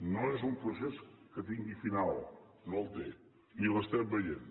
no és un procés que tingui final no el té ni l’estem veient